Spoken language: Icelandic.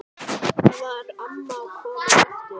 Þar var amma komin aftur.